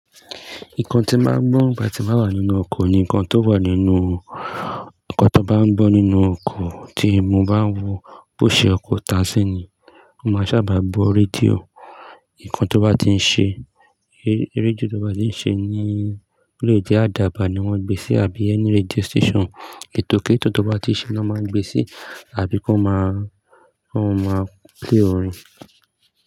Nǹkan tí màá ń gbọ́ bà tí màá ń wá nínú oko ni nǹkan tó wà nínú, nǹkan tó bá ń gbọ́ nínú oko tí mo bá ń wò bó ṣe ọkọ̀ọ̀ tàxi ni, mó máa sábà bọ radio. Nǹkan tó bá ti ń ṣe, rédíò tó bá ti ń ṣe ní radio ó lè jẹ́ Adaaba ni wọ́n gbé sí àbí ẹni rédíò station ètòkètó bá ti ń ṣe ni wọ́n máa ń gbé sí, àbí kí wọ́n máa, wọ́n máa play orin.